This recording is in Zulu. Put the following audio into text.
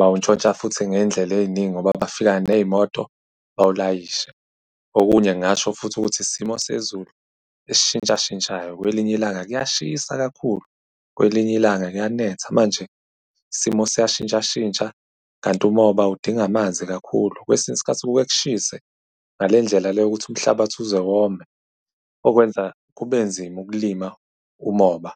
bawuntshontsha futhi ngey'ndlela ey'ningi ngoba bafika ney'moto bawulayishe. Okunye ngingasho futhi ukuthi isimo sezulu esishintshashintshayo, kwelinye ilanga kuyashisa kakhulu, kwelinye ilanga kuyanetha. Manje isimo siyashintshashintsha kanti umoba udinga amanzi kakhulu. Kwesinye isikhathi kuke kushise ngale ndlela le yokuthi umhlabathi uze wome, okwenza kube nzima ukulima umoba.